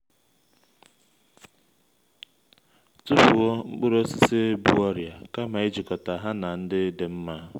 tufuo mkpụrụ osisi bu ọrịa kama ijikọta ha na ndị dị nma